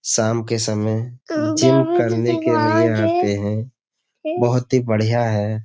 शाम के समय जिम करने के लिए आते हैं। बोहोत ही बढ़िया है।